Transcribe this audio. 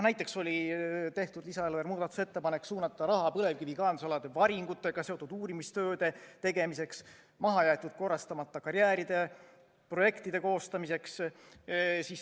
Näiteks oli tehtud muudatusettepanek suunata raha põlevkivikaevandusalade varingutega seotud uurimistööde tegemiseks ja mahajäetud korrastamata karjääride projektide koostamiseks.